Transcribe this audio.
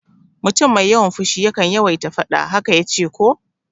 Mutum mai yawan fushi yakan yawaita faɗa, haka yace ko?